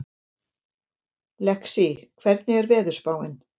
Lexí, hvernig er veðurspáin?